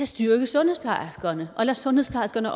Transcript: styrke sundhedsplejerskerne og lod sundhedsplejerskerne